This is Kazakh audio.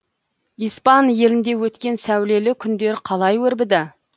испан елінде өткен сәулелі күндер қалай өрбіді